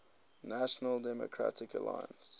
national democratic alliance